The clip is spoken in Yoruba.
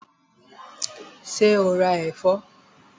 Ṣé o ra ẹ̀fọ́?